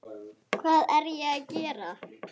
Hvað er ég að gera?